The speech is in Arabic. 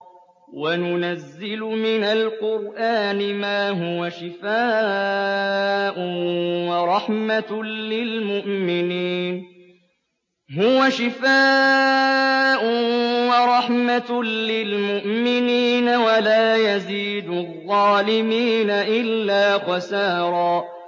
وَنُنَزِّلُ مِنَ الْقُرْآنِ مَا هُوَ شِفَاءٌ وَرَحْمَةٌ لِّلْمُؤْمِنِينَ ۙ وَلَا يَزِيدُ الظَّالِمِينَ إِلَّا خَسَارًا